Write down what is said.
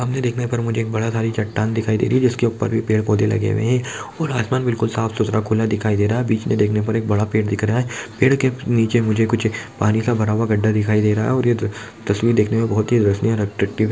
सामने देखने पर मुझे एक बड़ा सारी चट्टान दिखयी दे रही है जिसके ऊपर पेड़-पौधे लगे हुए है और आसमान बिलकुल साफ सुथरा खुला दिखाई दे रहा है बीच मे देखने पर बड़ा पेड़ दिखाई दे रहा है पेड़ के नीचे मुझे कुछ पानी का भरा हुआ गढ्ढा दिखाई दे रहा है और ये त-- तस्वीर देखने पर बोहत रसनीय अट्रेक्टिव है।